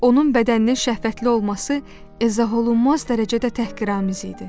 Onun bədəninin şəhvətli olması izah olunmaz dərəcədə təhqiramiz idi.